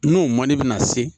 N'o man di na se